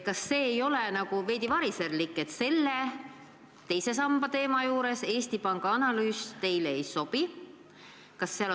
Kas see ei ole veidi variserlik, et teise samba regulatsiooni puhul Eesti Panga analüüs teile ei sobi?